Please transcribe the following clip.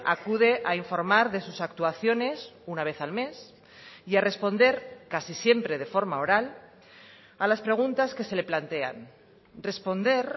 acude a informar de sus actuaciones una vez al mes y a responder casi siempre de forma oral a las preguntas que se le plantean responder